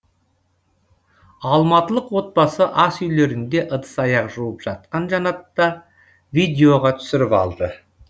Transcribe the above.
алматылық отбасы асүйлерінде ыдыс аяқ жуып жатқан жанатта видеоға түсіріп алды